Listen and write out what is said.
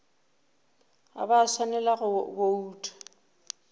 ga ba swanela go bouta